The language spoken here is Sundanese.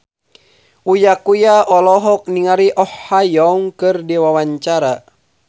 Uya Kuya olohok ningali Oh Ha Young keur diwawancara